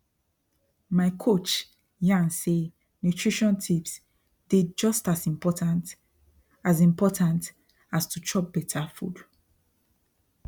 my coach yarn say nutrition tips dey just as important as important as to chop better food